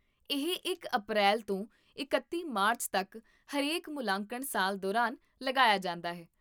ਇਹ ਇਕ ਅਪ੍ਰੈਲ ਤੋਂ ਇਕੱਤੀ ਮਾਰਚ ਤਕ ਹਰੇਕ ਮੁਲਾਂਕਣ ਸਾਲ ਦੌਰਾਨ ਲਗਾਇਆ ਜਾਂਦਾ ਹੈ